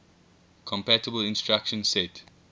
compatible instruction set